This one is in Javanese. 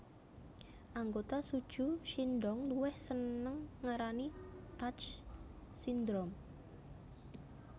Anggota SuJu Shindong luwih senang ngarani touch syndrome